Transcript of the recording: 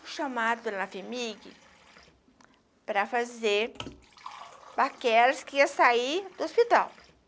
Fui chamada pela FEMIG para fazer que ia sair do hospital.